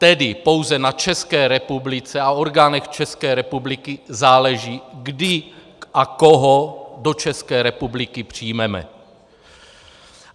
Tedy pouze na České republice a orgánech České republiky záleží, kdy a koho do České republiky přijmeme.